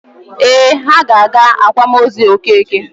Ee, ha ga-aga akwamozu Okeke.